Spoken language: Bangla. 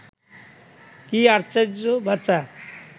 কি আশ্চর্য বাঁচা